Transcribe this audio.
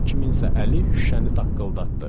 Kiminsə əli şüşəni taqqıldatdı.